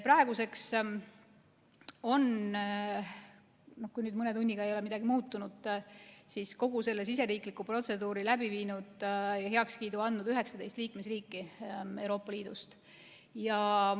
Praeguseks on – kui nüüd mõne tunniga ei ole midagi muutunud – kogu selle siseriikliku protseduuri on läbi viinud ja heaks kiitnud 19 liikmesriiki Euroopa Liidust.